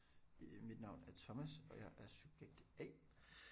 Øh mit navn er Thomas og jeg er subjekt A